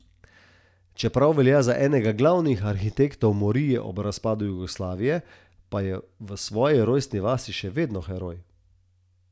Čeprav velja za enega glavnih arhitektov morije ob razpadu Jugoslavije, pa je v svoji rojstni vasi še vedno heroj.